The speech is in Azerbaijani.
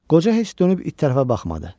Qoca heç dönüb it tərəfə baxmadı.